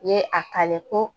U ye a kale ko